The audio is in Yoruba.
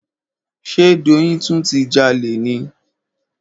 Ṣe Doyin tún ti jalè ni?